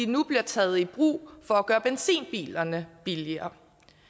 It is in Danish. nu bliver taget i brug for at gøre benzinbilerne billigere